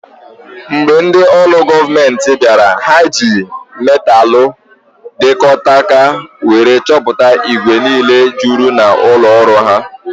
Mgbe ndị olu goomenti bịara, ha ji metalu diktakto wéré chọpụta igwe niile jụrụ n'ụlọ ọrụ ahụ